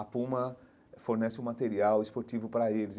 A Puma fornece o material esportivo para eles.